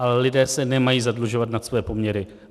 Ale lidé se nemají zadlužovat nad svoje poměry.